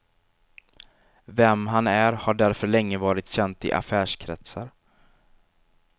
Vem han är har därför länge varit känt i affärskretsar.